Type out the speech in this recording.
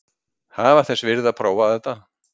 Það var þess virði að prófa þetta.